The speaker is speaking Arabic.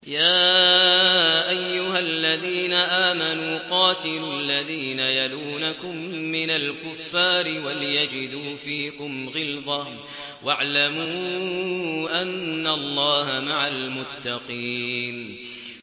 يَا أَيُّهَا الَّذِينَ آمَنُوا قَاتِلُوا الَّذِينَ يَلُونَكُم مِّنَ الْكُفَّارِ وَلْيَجِدُوا فِيكُمْ غِلْظَةً ۚ وَاعْلَمُوا أَنَّ اللَّهَ مَعَ الْمُتَّقِينَ